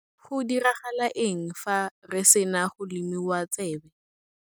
Go diragala eng fa re sena go lomiwa tsebe?